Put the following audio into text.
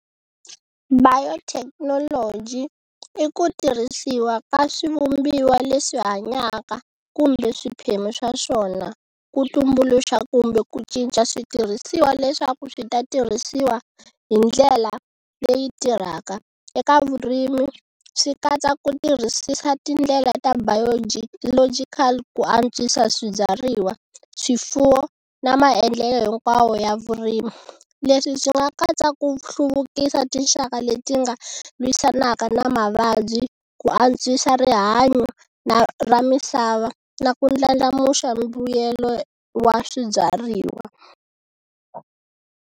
Biotechnology i ku tirhisiwa ka swivumbiwa leswi hanyaka kumbe swiphemu swa swona ku tumbuluxa kumbe ku cinca switirhisiwa leswaku swi ta tirhisiwa hi ndlela leyi tirhaka eka vurimi swi katsa ku tirhisisa tindlela ta biogeological ku antswisa swibyariwa, swifuwo na maendlelo hinkwawo ya vurimi. Leswi swi nga katsa ku hluvukisa tinxaka leti nga lwisanaka na mavabyi ku antswisa rihanyo na ra misava na ku ndlandlamuxa mbuyelo wa swibyariwa.